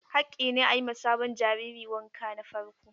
Haƙƙi ne a yi ma sabon jariri wanka na farko.